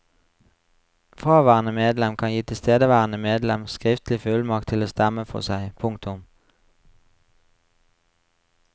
Fraværende medlem kan gi tilstedeværende medlem skriftlig fullmakt til å stemme for seg. punktum